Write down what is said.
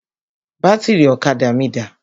Bátìrì ọ̀kadà mí dà?